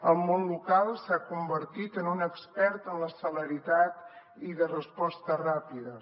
el món local s’ha convertit en un expert en la celeritat i de respostes ràpides